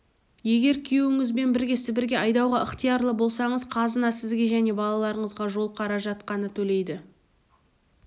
егер күйеуіңізбен бірге сібірге айдауға ықтиярлы болсаңыз қазына сізге және балаларыңызға жол қаражат қана төлейді